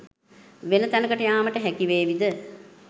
වෙන තැනකට යාමට හැකිවේවිද?